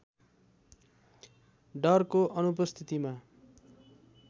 डरको अनुपस्थितिमा